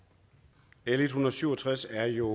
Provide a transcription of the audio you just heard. l en hundrede og syv og tres er jo